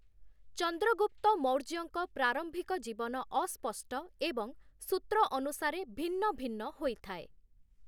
ଚନ୍ଦ୍ରଗୁପ୍ତ ମୌର୍ଯ୍ୟଙ୍କ ପ୍ରାରମ୍ଭିକ ଜୀବନ ଅସ୍ପଷ୍ଟ ଏବଂ ସୂତ୍ର ଅନୁସାରେ ଭିନ୍ନ ଭିନ୍ନ ହୋଇଥାଏ ।